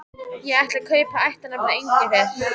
Ég ætla að taka upp ættarnafnið Engifer.